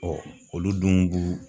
Ɔ olu dun b'u